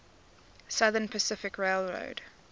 southern pacific railroad